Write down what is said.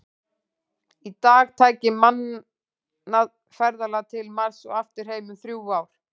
Í dag tæki mannað ferðalag til Mars og aftur heim um þrjú ár.